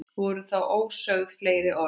Voru þá ósögð fleiri orð.